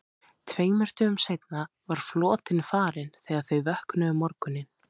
Tveimur dögum seinna var flotinn farinn þegar þau vöknuðu um morguninn.